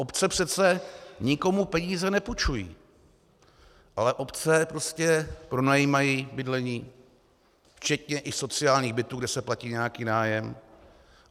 Obce přece nikomu peníze nepůjčují, ale obce prostě pronajímají bydlení, včetně i sociálních bytů, kde se platí nějaký nájem.